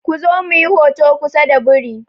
Ku zo muyi hoto kusa da biri!